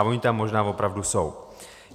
A ony tam možná opravdu jsou.